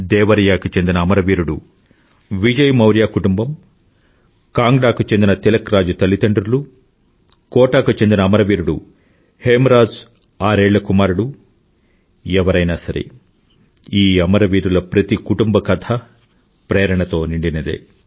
దేవరియాకు చెందిన అమర వీరుడు విజయ్ మౌర్య కుటుంబం కాంగ్డా కు చెందిన తిలక్ రాజ్ తల్లిదండ్రులు కోటాకు చెందిన అమరవీరుడు హేమ్ రాజ్ ఆరేళ్ల కుమారుడు ఎవరైనా సరే ఈ అమరవీరుల ప్రతి కుటుంబ కథా ప్రేరణతో నిండినదే